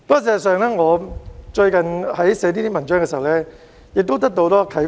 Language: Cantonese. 事實上，我在撰寫這些文章時得到很多啟發。